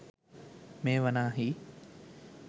මෙය වනාහි